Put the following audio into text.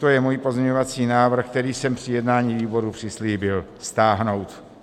To je můj pozměňovací návrh, který jsem při jednání výboru přislíbil stáhnout.